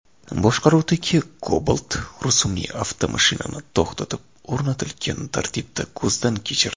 boshqaruvidagi Cobalt rusumli avtomashinani to‘xtatib, o‘rnatilgan tartibda ko‘zdan kechirdi.